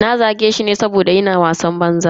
Na zage shi ne saboda yana wasan banza.